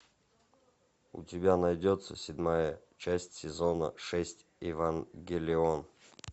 у тебя найдется седьмая часть сезона шесть евангелион